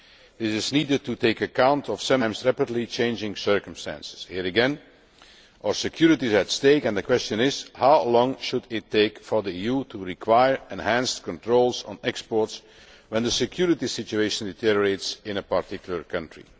This is needed to take account of sometimes rapidly changing circumstances here again, our security is at stake and the question is how long should it take for the EU to require enhanced controls on exports when the security situation deteriorates in a particular country?